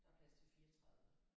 Der er plads til 34